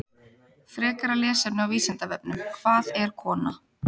Frekara lesefni á Vísindavefnum: Hvað er kona?